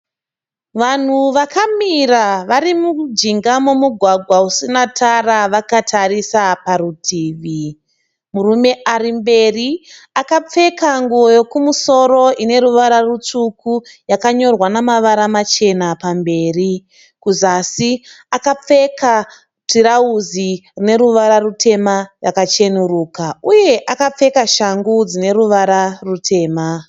Vanhu vakamira vari mujinga momugwagwa usina tara vakatarisa parutivi. Murume ari mberi akapfeka nguo yokumusoro ine ruvara rutsvuku yakanyorwa namavara machena pamberi. Kuzasi akapfeka tirauzi rine ruvara rutema rakachenuruka uye akapfeka shangu dzine ruvara rutema.